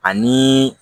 Ani